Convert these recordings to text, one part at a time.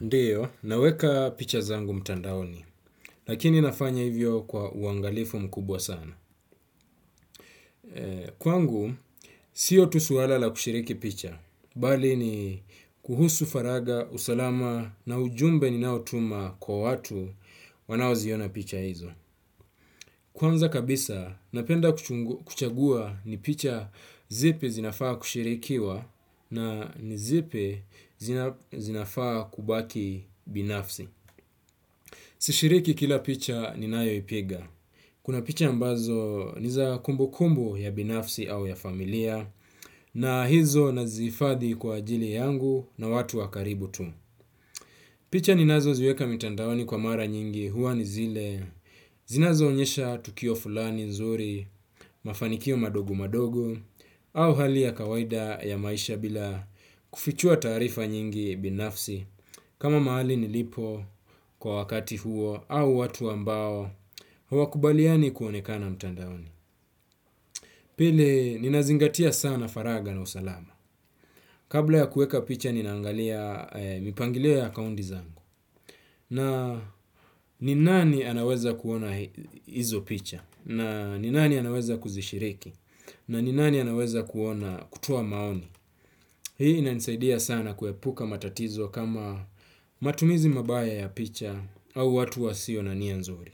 Ndio, naweka picha zangu mtandaoni, lakini nafanya hivyo kwa uangalifu mkubwa sana. Kwangu, sio tu suwala la kushiriki picha, bali ni kuhusu faragha, usalama na ujumbe ninaotuma kwa watu wanao ziona picha hizo. Kwanza kabisa, napenda kuchagua ni picha zipi zinafaa kushirikiwa na ni zipi zinafaa kubaki binafsi. Sishiriki kila picha ninayoipiga. Kuna picha ambazo ni za kumbukumbu ya binafsi au ya familia na hizo nazihifadhi kwa ajili yangu na watu wa karibu tu. Picha ninazoziweka mitandaoni kwa mara nyingi huwa ni zile zinazo onyesha tukio fulani nzuri mafanikio madogo madogo au hali ya kawaida ya maisha bila kufichua taarifa nyingi binafsi kama mahali nilipo kwa wakati huo au watu ambao hawakubaliani kuonekana mtandaoni. Pili, ninazingatia sana faragha na usalama. Kabla ya kuweka picha, ninaangalia mipangilio ya akaunti zangu. Na ni nani anaweza kuona hizo picha. Na ninani anaweza kuzishiriki? Na ni nani anaweza kuona kutoa maoni? Hii inanisaidia sana kuepuka matatizo kama matumizi mabaya ya picha au watu wasio na nia nzuri.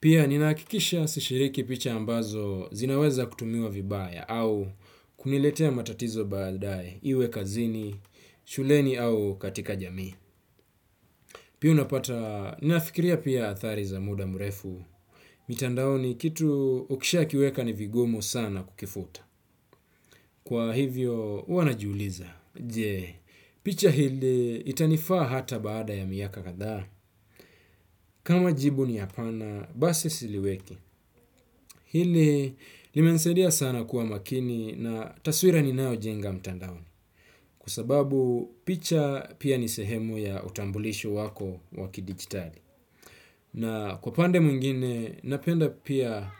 Pia ninahakikisha sishiriki picha ambazo zinaweza kutumiwa vibaya au kuniletea matatizo baadae iwe kazini, shuleni au katika jamii. Pia unapata, ninafikiria pia athari za muda mrefu, mitandaoni kitu ukishakiweka ni vigumu sana kukifuta. Kwa hivyo, huwa najiuliza. Je, picha hili itanifaa hata baada ya miaka kadhaa. Kama jibu ni hapana, basi siliweki. Hili limenisaidia sana kuwa makini na taswira ninayo jenga mtandaoni. Kwa sababu picha pia ni sehemu ya utambulisho wako wa kidijitali. Na kwa pande mwingine, napenda pia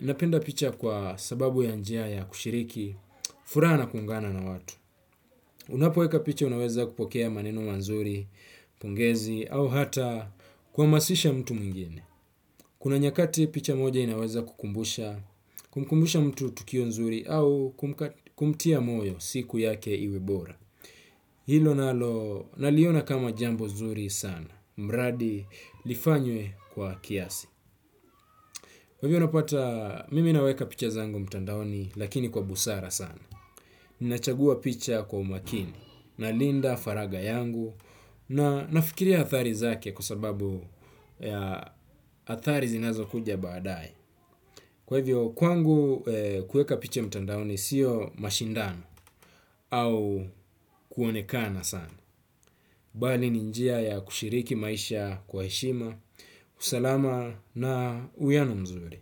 napenda picha kwa sababu ya njia ya kushiriki, furaha na kuungana na watu. Unapoweka picha unaweza kupokea maneno mazuri, pongezi, au hata kuhamasisha mtu mwingine. Kuna nyakati picha moja inaweza kukumbusha, kumkumbusha mtu tukio nzuri, au kumtia moyo siku yake iwe bora. Hilo nalo, naliona kama jambo nzuri sana, mradi lifanywe kwa kiasi. Kwa hivyo unapata, mimi naweka picha zangu mtandaoni lakini kwa busara sana. Ninachagua picha kwa umakini, nalinda faragha yangu, na nafikiria athari zake kwa sababu ya athari zinazokuja baadae. Kwa hivyo, kwangu kuweka picha mtandaoni sio mashindano au kuonekana sana. Bali ni njia ya kushiriki maisha kwa heshima. Usalama na uwiano mzuri.